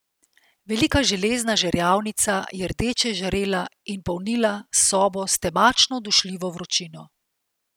Velika železna žerjavnica je rdeče žarela in polnila sobo s temačno dušljivo vročino.